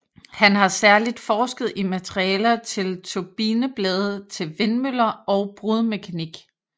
Han har særligt forsket i materialer til turbineblade til vindmøller og brudmekanik